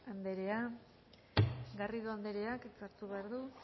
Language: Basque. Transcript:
andrea garrido andreak hitza hartu behar du